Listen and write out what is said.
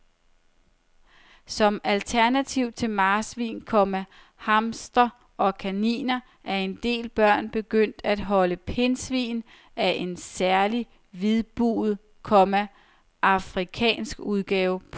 Som alternativ til marsvin, komma hamster og kanin er en del børn begyndt at holde pindsvin af en særlig hvidbuget, komma afrikansk udgave. punktum